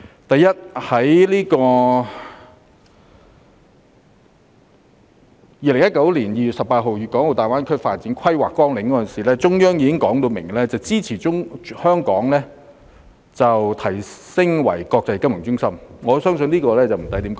第一，中央在2019年2月18日公布《規劃綱要》時，已表明支持香港提升為國際金融中心，我相信這一點無需多說。